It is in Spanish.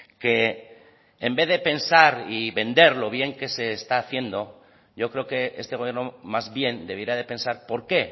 que en vez de pensar y vender lo bien que se está haciendo yo creo que este gobierno más bien debiera de pensar por qué